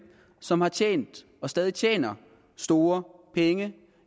som har tjent og stadig tjener store penge